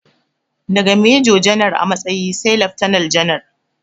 Daga mejo janar a matsayi sai laftanal janar